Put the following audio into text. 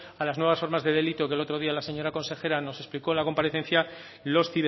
a las nuevas formas de delito que el otro día la señora consejera nos explicó en la comparecencia los